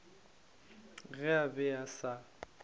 ge a be a sa